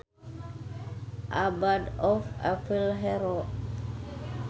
A bad or evil hero